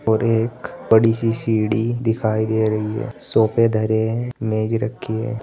और एक बड़ी सी सीढ़ी दिखाई दे रही है सोफे धरे हैं मेज रखी है।